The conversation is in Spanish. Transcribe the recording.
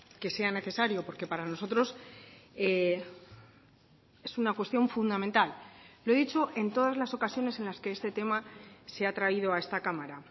que sea necesario porque para nosotros es una cuestión fundamental lo he dicho en todas las ocasiones en las que este tema se ha traído a esta cámara